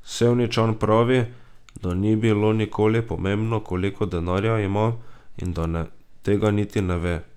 Sevničan pravi, da ni bilo nikoli pomembno, koliko denarja ima, in da tega niti ne ve.